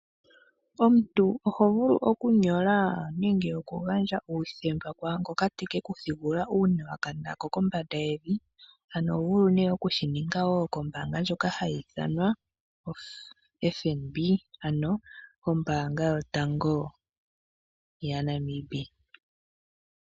Omuntu oho vulu oku nyola nenge oku gandje uuthemba kwaangoka tekeku thigulula uuna wa kana kombanda yevi. Ano oho vulu oku shininga wo kombaanga ndjoka hayi ithanwa FNB ano ombaanga yotango ya Namibia.